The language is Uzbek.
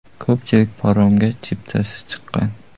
Ko‘pchilik paromga chiptasiz chiqqan.